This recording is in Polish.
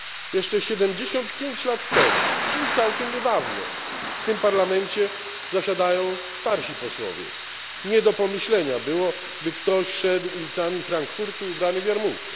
Jeszcze 75 lat temu, czyli całkiem niedawno w tym Parlamencie zasiadają starsi posłowie nie do pomyślenia było, by ktoś szedł ulicami Frankfurtu ubrany w jarmułkę.